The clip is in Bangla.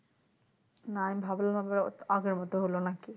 না আমি ভাবলাম আগের মতো হলো নাকি